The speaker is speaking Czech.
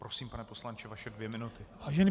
Prosím, pane poslanče, vaše dvě minuty.